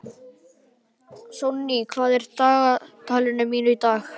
Sonný, hvað er á dagatalinu mínu í dag?